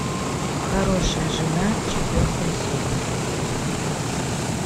хорошая жена четвертая серия